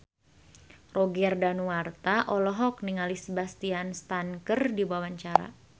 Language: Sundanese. Roger Danuarta olohok ningali Sebastian Stan keur diwawancara